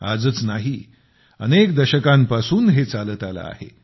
आजच नाही अनेक दशकांपासून हे चालत आले आहे